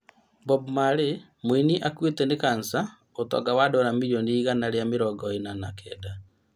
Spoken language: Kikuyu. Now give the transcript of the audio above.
Bob Marley mũini akuĩte nĩ kansa ũtonga wa Dora mirioni igana rĩa mĩrongo ĩna na kenda